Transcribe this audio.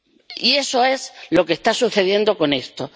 Y eso es lo que está sucediendo con esto.